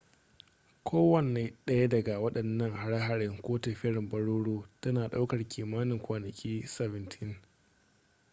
kowane ɗaya daga waɗannan har-hare ko tafiyar baroro tana ɗaukar kimanin kwanaki 17